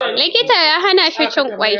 Likita ya hana shi cin ƙwai.